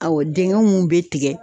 Awɔ dɛngɛnw be tigɛ